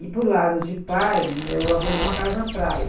E, por lado de pai, meu avô tinha uma casa na praia.